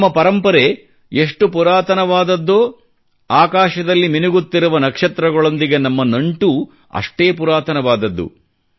ನಮ್ಮ ಪರಂಪರೆ ಎಷ್ಟು ಪುರಾತನವಾದದ್ದೋ ಆಕಾಶದಲ್ಲಿ ಮಿಣುಗುತ್ತಿರುವ ನಕ್ಷತ್ರಗಳೊಂದಿಗೆ ನಮ್ಮ ನಂಟೂ ಅಷ್ಟೇ ಪುರಾತನವಾದದ್ದು